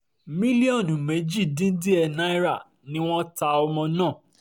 mílíọ̀nù méjì dín díẹ̀ náírà ni wọ́n ta ọmọ náà